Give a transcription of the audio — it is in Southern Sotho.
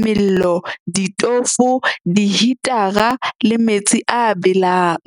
mello, ditofo, dihitara le metsi a belang.